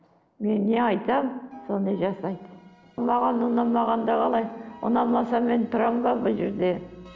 мен не айтамын соны жасайды маған ұнамағанда қалай ұнамаса мен тұрамын ба бұл жерде